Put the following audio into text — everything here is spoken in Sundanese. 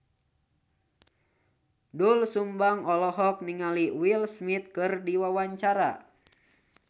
Doel Sumbang olohok ningali Will Smith keur diwawancara